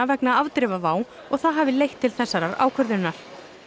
vegna afdrifa WOW og það hafi leitt til þessarar ákvörðunar